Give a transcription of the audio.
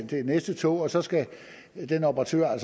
det næste tog så skal den operatør